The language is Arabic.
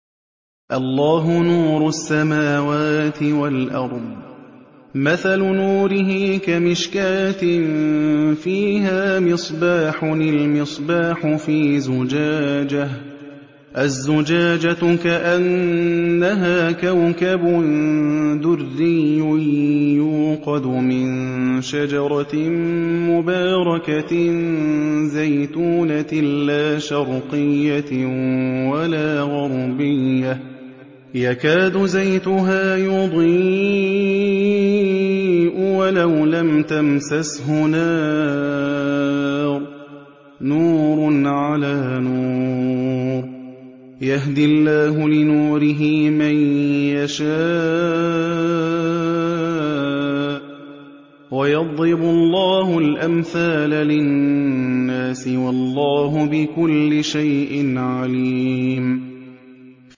۞ اللَّهُ نُورُ السَّمَاوَاتِ وَالْأَرْضِ ۚ مَثَلُ نُورِهِ كَمِشْكَاةٍ فِيهَا مِصْبَاحٌ ۖ الْمِصْبَاحُ فِي زُجَاجَةٍ ۖ الزُّجَاجَةُ كَأَنَّهَا كَوْكَبٌ دُرِّيٌّ يُوقَدُ مِن شَجَرَةٍ مُّبَارَكَةٍ زَيْتُونَةٍ لَّا شَرْقِيَّةٍ وَلَا غَرْبِيَّةٍ يَكَادُ زَيْتُهَا يُضِيءُ وَلَوْ لَمْ تَمْسَسْهُ نَارٌ ۚ نُّورٌ عَلَىٰ نُورٍ ۗ يَهْدِي اللَّهُ لِنُورِهِ مَن يَشَاءُ ۚ وَيَضْرِبُ اللَّهُ الْأَمْثَالَ لِلنَّاسِ ۗ وَاللَّهُ بِكُلِّ شَيْءٍ عَلِيمٌ